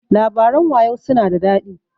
Labaran wayau su na da daɗi.